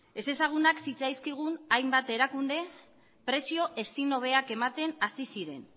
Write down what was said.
ezezagunak zitzaizkigun hainbat erakunde prezio ezin hobeak ematen hasi ziren